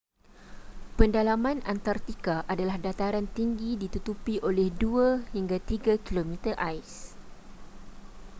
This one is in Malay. pendalaman antartika adalah dataran tinggi ditutupi oleh 2-3 km ais